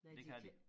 Nej de kan